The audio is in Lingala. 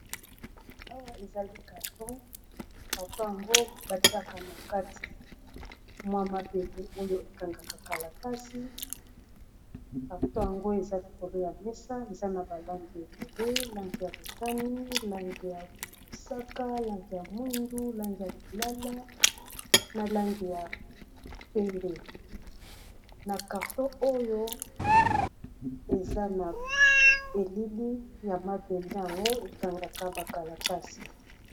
awa ezali karton karton yango batiaka na kati mwa mabele oyo ekangaka kalatasi karton yango eza likolo ya mesa eza na balangi ebele langi ya botani langi ya mosaka langi ya mwindu langi ya lilala na langi ya pembe na karton oyo eza na elili ya mabele yango ekangaka bakalatasi